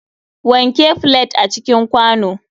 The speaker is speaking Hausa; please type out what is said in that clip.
Wanke flet a cikin kwano.